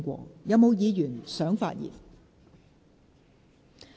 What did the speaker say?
是否有議員想發言？